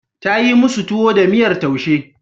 Ta yi musu tuwo da miyar taushe.